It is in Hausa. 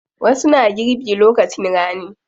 Wasu na girbi lokacin rani.